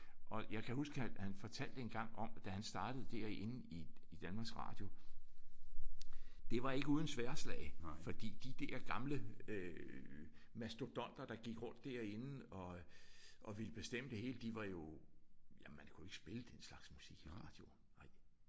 Og jeg kan huske at han fortalte engang om da han startede derinde i Danmarks Radio det var ikke uden sværdslag fordi de der gamle øh mastodonter der gik rundt derinde og og ville bestemme det hele de var jo jamen man kunne ikke spille den slags musik i radioen nej